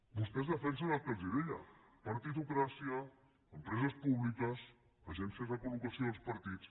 vostès defensen el que els deia partitocràcia empreses públiques agències de col·locació dels partits